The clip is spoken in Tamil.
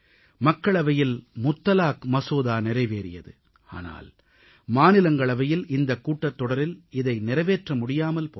மக்களவையில் முத்தலாக் மசோதா நிறைவேறியது ஆனால் மாநிலங்களவையில் இந்தக் கூட்டத்தொடரில் இதை நிறைவேற்ற முடியாமல் போனது